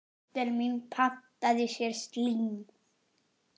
Dóttir mín pantaði sér slím.